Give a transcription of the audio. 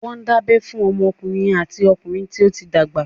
Wọ́n ń dábẹ́ fún ọmọdékùnrin àti okùnrin tó ti dàgbà.